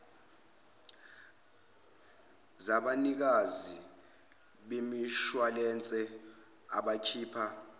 zabanikazi bemishuwalense abakhipha